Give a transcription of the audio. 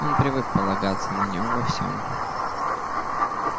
он привык полагаться на нём во всем